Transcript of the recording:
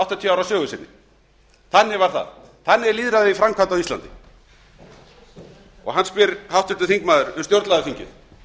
áttatíu ára sögu sinni þannig var það þannig er lýðræðið í framkvæmd á íslandi háttvirtur þingmaður spyr um stjórnlagaþingið